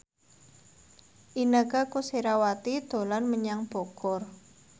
Inneke Koesherawati dolan menyang Bogor